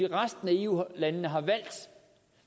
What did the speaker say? resten af eu landene har valgt